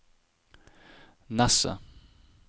Nesset